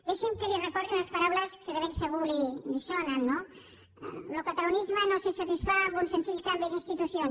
deixi’m que li recordi unes paraules que de segur li sonen lo catalanisme no se satisfà amb un senzill canvi d’institucions